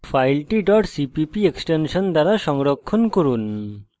file cpp extension দিয়ে সংরক্ষণ করুন